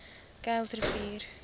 kuilsrivier